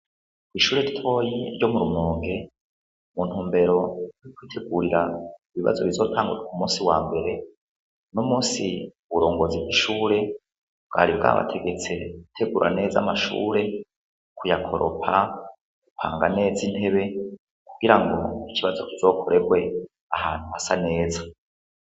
Kw'ishure toyi ryo murumonge muntu mbero ny'kwitegurira ibibazo bizotangurwa u musi wa mbere no musi uburongozi bwishure bwari bwabategetse uteguraneza amashure kuya koropa gupanga neza intebe kugira ngo ikibazo kizokorebwe ahantu ha sa neza.